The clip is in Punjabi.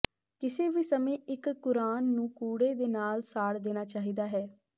ਕਿਸੇ ਵੀ ਸਮੇਂ ਇਕ ਕੁਰਾਨ ਨੂੰ ਕੂੜੇ ਦੇ ਨਾਲ ਸਾੜ ਦੇਣਾ ਚਾਹੀਦਾ ਹੈ